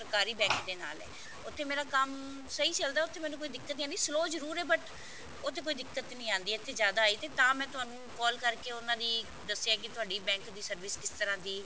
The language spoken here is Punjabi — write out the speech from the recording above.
ਸਰਕਾਰੀ bank ਦੇ ਨਾਲ ਹੈ ਉੱਥੇ ਮੇਰਾ ਕੰਮ ਸਹੀ ਚੱਲਦਾ ਉੱਥੇ ਮੈਨੂੰ ਕੋਈ ਦਿੱਕਤ ਨਹੀਂ ਆਉਂਦੀ slow ਜਰੂਰ ਹੈ but ਉੱਥੇ ਕੋਈ ਦਿੱਕਤ ਨਹੀਂ ਆਉਂਦੀ ਇੱਥੇ ਜਿਆਦਾ ਆਈ ਤੇ ਤਾਂ ਮੈਂ ਤੁਹਾਨੂੰ call ਕਰਕੇ ਉਹਨਾ ਦੀ ਦੱਸਿਆ ਹੈ ਕਿ ਤੁਹਾਡੇ bank ਦੀ service ਕਿਸ ਤਰ੍ਹਾਂ ਦੀ